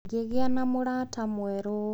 Ngĩgĩa na mũrata mwerũ.